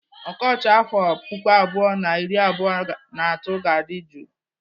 Ọkọchị afọ puku abụọ na iri abụọ na atọ ga-adị jụụ.